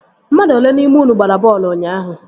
Mmadụ olee n'ime unu gbara bọọlụ ụnyaahụ?